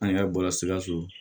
An yɛrɛ bɔra sikaso